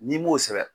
N'i m'o sɛbɛn